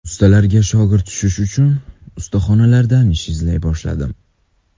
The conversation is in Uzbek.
Ustalarga shogird tushish uchun ustaxonalardan ish izlay boshladim.